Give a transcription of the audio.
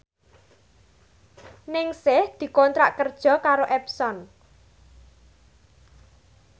Ningsih dikontrak kerja karo Epson